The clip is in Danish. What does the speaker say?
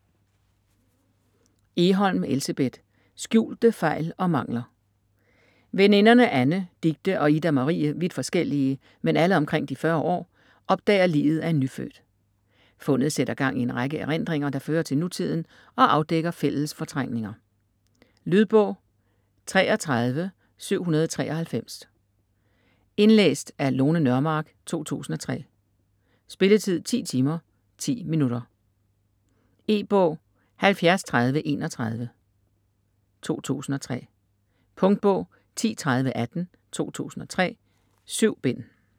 Egholm, Elsebeth: Skjulte fejl og mangler Veninderne Anne, Dicte og Ida Marie - vidt forskellige, men alle omkring de 40 år - opdager liget af en nyfødt. Fundet sætter gang i en række erindringer, der fører til nutiden og afdækker fælles fortrængninger. Lydbog 33793 Indlæst af Lone Nørmark, 2003. Spilletid: 10 timer, 10 minutter. E-bog 703031 2003. Punktbog 103018 2003. 7 bind.